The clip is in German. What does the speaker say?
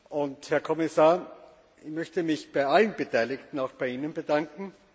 Und, Herr Kommisssar, ich möchte mich bei allen Beteiligten, auch bei Ihnen, bedanken.